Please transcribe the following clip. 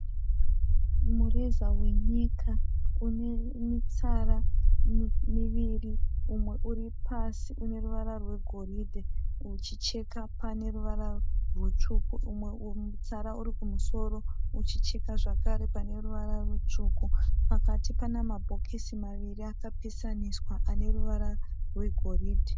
Mureza wenyika une mitsara miviri. Umwe uri pasi une ruvara rwegoridhe uchicheka pane ruvara rutsvuku umwe mutsara uri kumusoro uchicheka zvakare pane ruvara rutsvuku. Pakati pana mabhokisi maviri akapesaniswa ane ruvara rwegoridhe.